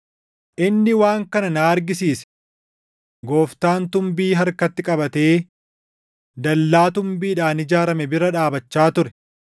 Inni waan kana na argisiise: Gooftaan tumbii harkatti qabatee dallaa tumbiidhaan ijaarame bira dhaabachaa ture.